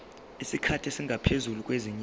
isikhathi esingaphezulu kwezinyanga